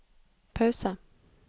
pause